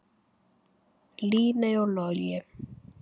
Líney og Logi.